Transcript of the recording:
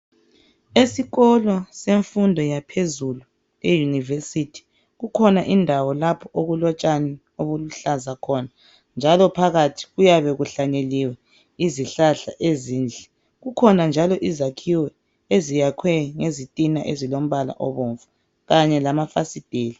Esikolo semfundo yaphezulu eyunivesithi kukhona indawo lapho okulotshani obuluhlaza khona. Njalo phakathi kuyabe kuhlanyeliwe izihlahla ezinhle. Kukhona njalo izakhiwo eziyakhwe ngezitiina ezilombala obomvu, kanye lamafasitela.